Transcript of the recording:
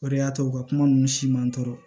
O de y'a to u ka kuma ninnu si man n tɔɔrɔ